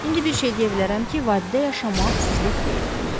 İndi bir şey deyə bilərəm ki, vadidə yaşamaq sizlik deyil.